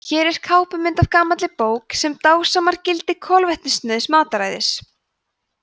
hér er kápumynd af gamalli bók sem dásamar gildi kolvetnasnauðs mataræðis